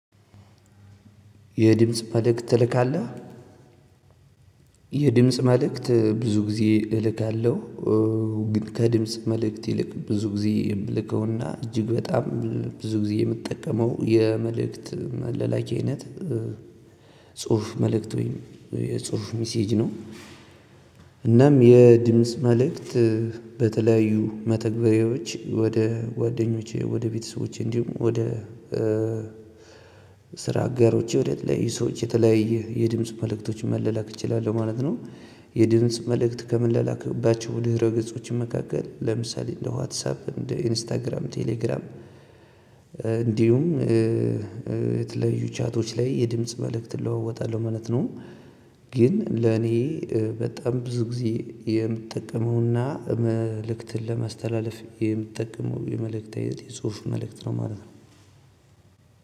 የድምጽ መልእክት ትልካለህ? የድምጽ መልእክት ብዙ ጊዜ እልካለሁ። ግን ከድምጽ መልእክት ይልቅ ብዙ ጊዜ የምልከውና እጅግ በጣም ብዙ ጊዜ የምጠቀመው የመልእክት መለላኪ አይነት ጽሁፍ መልእክት ወይም የጽሁፍ ሚሴጅ ነው። እናም የድምጽ መልእክት በተለያዩ መተግበሬዎች ወደ ወደኞች ወደ ቤተሰቦች እንዲሁም ወደ ስራ አጋሮች ወደተለያዩ ሰዎች የተለያየ የድምጽ መልእክቶች መለላክ እችላለሁ ማለት ነው። የድምጽ መልእክት ከምላላክባቸው ድረ ገጾች መካከል ለምሳሌ እንደ ዋትሳፕ እንደ ኢንስታግራም ቴሌግራም። እንዲሁም የተለያዩ ቻቶች ላይ የድምጽ መልእክት እለዋወጣለሁ ማለት ነው። ግን ለኔ በጣም ብዙ ጊዜ የምጠቀመውና መልእክትን ለማስተላለፍ የምትጠቀመው የመልእክት አይነት የጽሁፍ መልእክት ነው ማለት ነው።